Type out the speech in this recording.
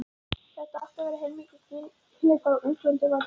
Þetta átti að vera heilmikið gilli, bara útvöldum var boðið.